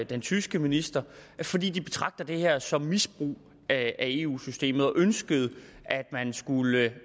den tyske minister fordi de betragter det her som misbrug af eu systemet og ønskede at man skulle